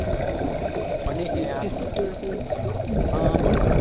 અને security હા હા બોલો બોલો